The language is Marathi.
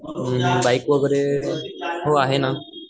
अम्म बाईक वैगरे हो आहे ना?